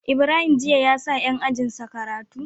Ibrahim jiya yasa yan ajinsa karatu